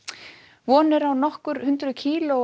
von er á nokkur hundruð kílóa